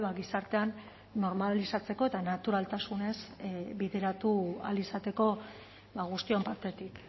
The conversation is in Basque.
gizartean normalizatzeko eta naturaltasunez bideratu ahal izateko guztion partetik